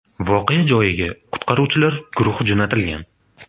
Voqea joyiga qutqaruvchilar guruhi jo‘natilgan.